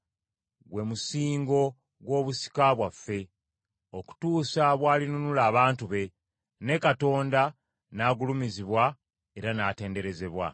gwe musingo gw’obusika bwaffe, okutuusa bw’alinunula abantu be, ne Katonda n’agulumizibwa era n’atenderezebwa.